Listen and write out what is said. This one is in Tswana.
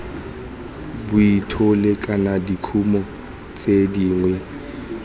bolthole kana dikumo tse dingwe